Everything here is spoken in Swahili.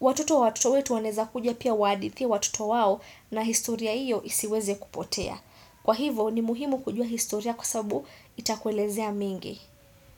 watoto wa watoto wetu wanaeza kuja pia wahadithie watoto wao na historia hiyo isiweze kupotea. Kwa hivo ni muhimu kujua historia kwa sababu itakuelezea mengi.